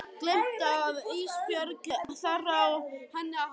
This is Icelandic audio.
Gleymt að Ísbjörg þarf á henni að halda.